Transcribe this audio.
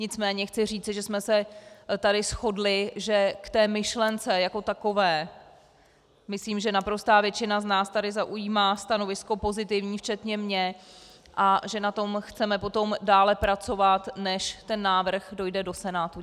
Nicméně chci říci, že jsme se tady shodli, že k té myšlence jako takové, myslím, že naprostá většina z nás tady zaujímá stanovisko pozitivní včetně mě a že na tom chceme potom dále pracovat, než ten návrh dojde do Senátu.